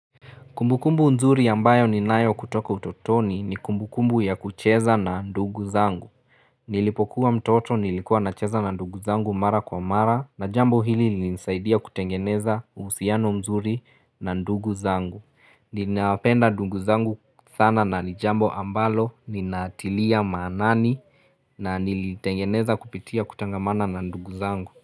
Kumbukumbu nzuri ambayo ni nayo kutoka utotoni ni kumbukumbu ya kucheza na ndugu zangu. Nilipokuwa mtoto nilikuwa na cheza na ndugu zangu mara kwa mara na jambo hili linisaidia kutengeneza uhusiano mzuri na ndugu zangu. Ninapenda ndugu zangu sana na ni jambo ambalo ninaatilia manani na nilitengeneza kupitia kutangamana na ndugu zangu.